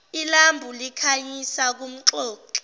ilambu likhanyisa kumxoxi